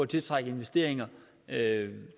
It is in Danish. tiltrække investeringer